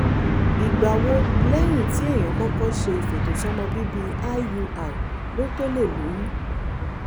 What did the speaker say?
ìgbà wo lẹ́yìn tí èèyàn kọ́kọ́ ṣe ìfètòsọ́mọbíbí iui ló tó lè lóyún?